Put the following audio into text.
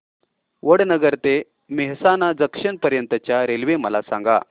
वडनगर ते मेहसाणा जंक्शन पर्यंत च्या रेल्वे मला सांगा